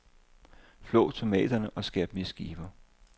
Flå tomaterne og skær dem i skiver.